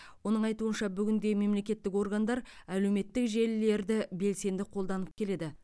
оның айтуынша бүгінде мемлекеттік органдар әлеуметтік желілерді белсенді қолданып келеді